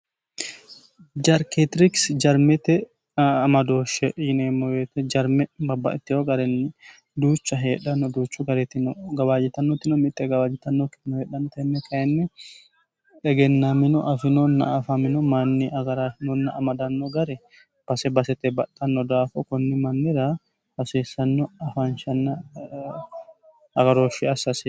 jarketirikisi jarmete amadooshshe yineemmo woyte jarme babbaxittewo garinni duucha heedhanno duuchu garitino gawaajitannotino mitte gawaajitannokkitino heedhanno tenne kayinni egennaamino afinonna afamino manni agarafinonna amadanno gare base basete baxxanno daafo kunni mannira hasiissanno afaanshanna agarooshshe assaasio